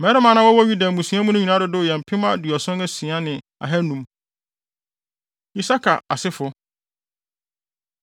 Mmarima a na wɔwɔ Yuda mmusua mu no nyinaa dodow yɛ mpem aduɔson asia ne ahannum (76,500). Isakar Asefo